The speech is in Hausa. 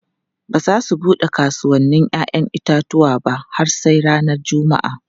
Ba za su bude kasuwannin 'ya'yan itatuwa ba har sai ranar Juma'a.